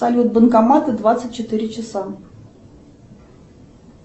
салют банкоматы двадцать четыре часа